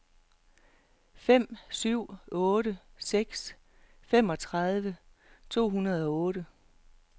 fem syv otte seks femogtredive to hundrede og otte